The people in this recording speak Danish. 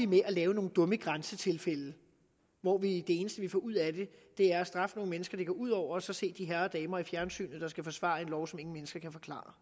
med at lave nogle dumme grænsetilfælde hvor det eneste vi får ud af det er at straffe nogle mennesker det går ud over og så se de herrer og damer i fjernsynet der skal forsvare en lov som ingen mennesker kan forklare